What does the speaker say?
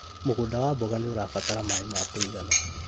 Mũgũnda wa mboga nĩũrabatara maĩ ma kũigana